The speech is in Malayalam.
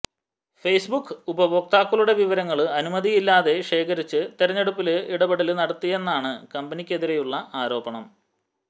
ഫേസ്ബുക്ക് ഉപയോക്താക്കളുടെ വിവരങ്ങള് അനുമതിയില്ലാതെ ശേഖരിച്ച് തിരഞ്ഞെടുപ്പില് ഇടപെടല് നടത്തിയെന്നാണ് കമ്പനിയ്ക്കെതിരെയുള്ള ആരോപണം